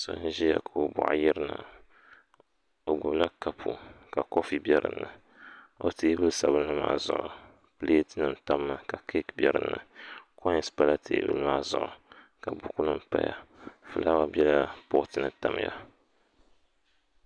So n ʒiya ka o boɣu yirina o gbubila kapu ka kofi bɛ dinni o teebuli sabinli maa zuɣu pileet nim tammi ka keek bɛ dinni koins pala tebuli maa zuɣu ka buku nim paya fulaawa bɛla poot ni tamya